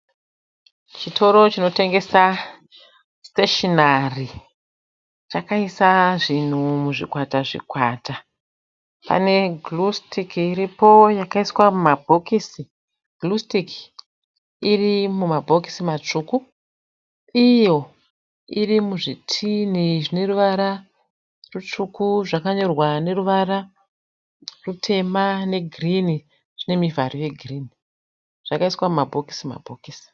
Chitoro chinotengesa stationery chakaita zvinhu muzvikwata zvikwata. Pane gluestik iripo yakaiswa mumabhokisi, gluestik irimumabhokisi matsvuku iyo irimuzvitini zvineruvara rutsvuku zvakanyorwa neruvara rutema negirini zvinemuvharo yegirini. Zvakaiswa mumabhokisi bhokisi.